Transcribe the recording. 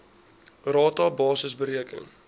rata basis bereken